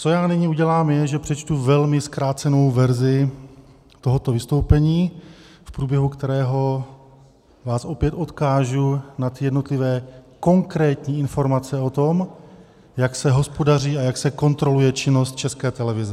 Co já nyní udělám, je, že přečtu velmi zkrácenou verzi tohoto vystoupení, v průběhu kterého vás opět odkážu na ty jednotlivé konkrétní informace o tom, jak se hospodaří a jak se kontroluje činnost České televize.